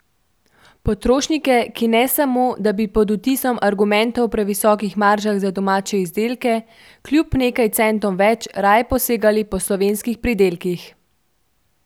Potrošnike, ki ne samo, da bi pod vtisom argumentov o previsokih maržah za domače izdelke kljub nekaj centom več raje posegali po slovenskih pridelkih.